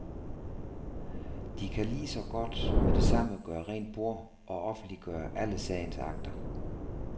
De kan lige så godt med det samme gøre rent bord og offentliggøre alle sagens akter.